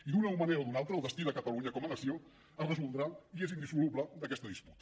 i d’una manera o d’una altra el destí de catalunya com a nació es resoldrà i és indissoluble d’aquesta disputa